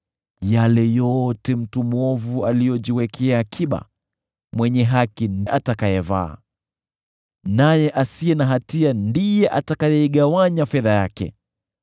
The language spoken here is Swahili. yale yote mtu mwovu aliyojiwekea akiba, mwenye haki atayavaa, naye asiye na hatia ataigawanya fedha yake.